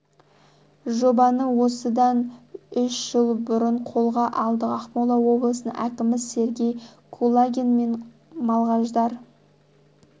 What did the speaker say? жобаны осыдан үш жыл бұрын қолға алдық ақмола облысының әкімі сергей кулагин мен малғаждар